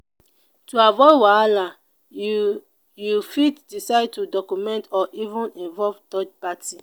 to avoid wahala you you fit decide to document or even involve third party